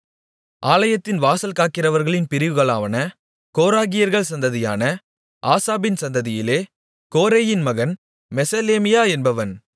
ஆலயத்தின் வாசல்காக்கிறவர்களின் பிரிவுகளாவன கோராகியர்கள் சந்ததியான ஆசாபின் சந்ததியிலே கோரேயின் மகன் மெஷெலேமியா என்பவன்